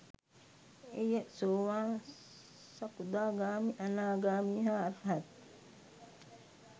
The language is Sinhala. එය සෝවාන්, සකදාගාමී, අනාගාමී හා අර්හත්